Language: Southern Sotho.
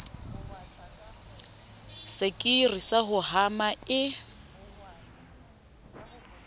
sekiri sa ho hama e